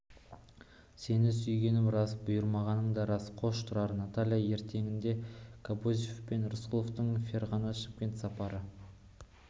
сені сүйгенім рас бұйырмағаның да рас қош тұрар наталья ертеңінде кобозев пен рысқұловтың ферғана шымкент сапары